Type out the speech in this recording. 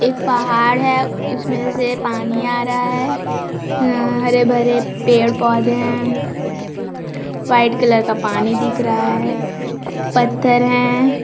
एक पहाड़ है उसमें से पानी आ रहा है हरे - भरे पेड़- पौधे है व्हाइट कलर का पानी दिख रहा है पथर हैं।